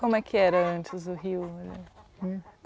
Como é que era antes o rio? Hm